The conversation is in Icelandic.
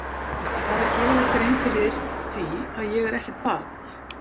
Viltu fara að gera þér grein fyrir því að ég er ekkert barn!